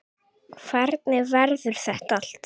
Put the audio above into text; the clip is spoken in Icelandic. Hvernig verður þetta allt?